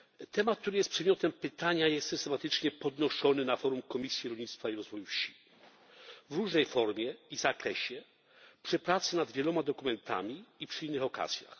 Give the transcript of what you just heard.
Temat, który jest przedmiotem pytania, jest systematycznie podnoszony na forum Komisji Rolnictwa i Rozwoju Wsi, w różnej formie i zakresie, przy pracy nad wieloma dokumentami i przy innych okazjach.